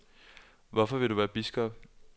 Hvorfor vil du være biskop?